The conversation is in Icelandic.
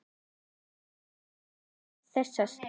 Grímur saknar oft þessara skýja.